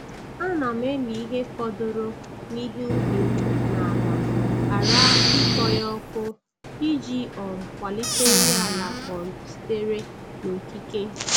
A na m eli ihe fọdụrụ n’ihe ubi m n’ala ghara ịkpọ ya ọkụ, iji um kwalite nri ala um sitere n’okike.